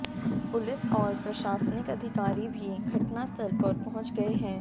police और प्रशासनिक अधिकारी भी घटनास्थल पर पहुंच गए हैं